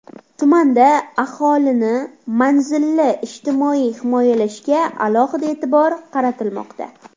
Tumanda aholini manzilli ijtimoiy himoyalashga alohida e’tibor qaratilmoqda.